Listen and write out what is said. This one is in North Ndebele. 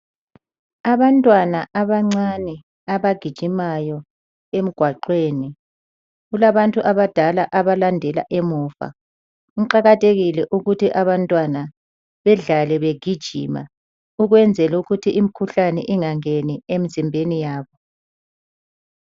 Abantwana abancane abagijimayo emgwaqweni. Kulabantu abadala abalandela emuva. Kuqakathekile ukuthi abantwana badlale begijina ukwenzela ukuthi imkhuhlane ingangeni emizimbeni yabo.